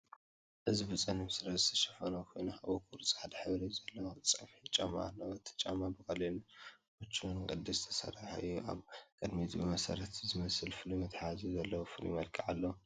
እዚ ብጸሊም ስረ ዝተሸፈነ እግሪ ኮይኑ፡ ኣብ እግሩ ጻዕዳ ሕብሪ ዘለዎ ጸፍሒ ጫማ ኣለዎ። እቲ ጫማ ብቐሊልን ምቹእን ቅዲ ዝተሰርሐ ኮይኑ፡ ኣብ ቅድሚት ብረት ዝመስል መትሓዚ ዘለዎ ፍሉይ መልክዕ ኣለዎ።